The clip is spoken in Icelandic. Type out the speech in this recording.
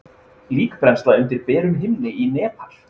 líkbrennsla undir berum himni í nepal